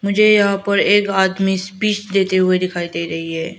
मुझे यहां पर एक आदमी स्पीच देते हुए दिखाई दे रही है।